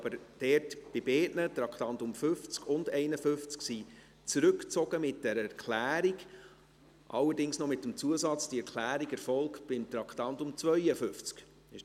Beide Traktanden, 50 und 51, wurden aber mit Erklärung zurückgezogen, allerdings mit dem Zusatz, dass die Erklärungen bei Traktandum 52 erfolgen.